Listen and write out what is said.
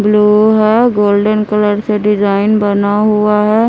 Blue है golden colour से design बना हुआ है।